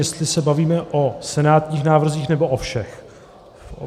Jestli se bavíme o senátních návrzích, nebo o všech?